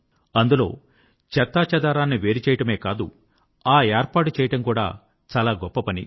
అందులో చెత్తాచెదారాన్ని వేరుచేయడమే కాదు ఆ ఏర్పాటు చేయడం కూడా చాలా గొప్ప పని